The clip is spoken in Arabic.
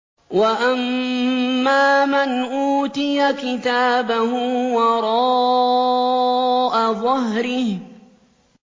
وَأَمَّا مَنْ أُوتِيَ كِتَابَهُ وَرَاءَ ظَهْرِهِ